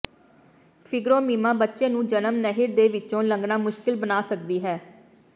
fibromyoma ਬੱਚੇ ਨੂੰ ਜਨਮ ਨਹਿਰ ਦੇ ਵਿੱਚੋਂ ਲੰਘਣਾ ਮੁਸ਼ਕਲ ਬਣਾ ਸਕਦੀ ਹੈ